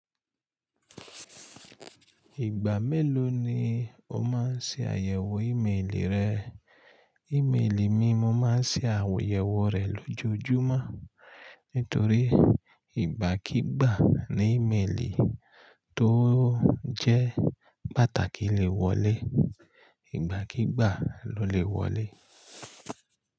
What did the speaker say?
Ìgbà mélòó ni o máa ń ṣe àyẹ̀wò ìméèlì rẹ? Ìméèlì mi mo má ń ṣe àyẹ̀wò rẹ̀ lójoojúmọ́ nítorí ìgbákigbà ni ìméèlì tó jẹ́ pàtàkì lè wọlé, ìgbákigbà ló lè wọlé.